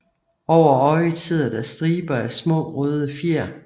Over øjet sidder der striber af små røde fjer